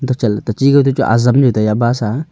hochat le techi kau te chu ajam jau taiya bus aa.